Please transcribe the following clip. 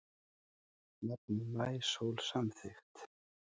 Nafnið Maísól samþykkt